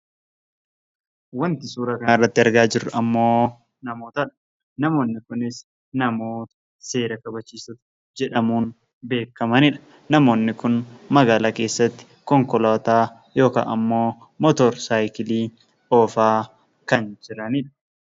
Wanti suuraa kana irratti argaa jirru ammoo namootadha. Namoonni kunis namoota seera kabachiistuu jedhamuun beekamanidha. Namoonni kun magaalaa keessatti konkolaataa yookaan ammoo " mootor sayikilii" oofaa kan jiranidha.